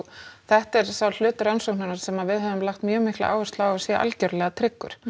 þetta er sá hluti rannsóknarinnar sem við höfum lagt mjög mikla áherslu á að sé algerlega tryggur